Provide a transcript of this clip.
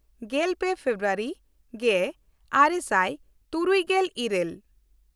ᱜᱮᱞᱯᱮ ᱯᱷᱮᱵᱨᱩᱣᱟᱨᱤ ᱜᱮᱼᱟᱨᱮ ᱥᱟᱭ ᱛᱩᱨᱩᱭᱜᱮᱞ ᱤᱨᱟᱹᱞ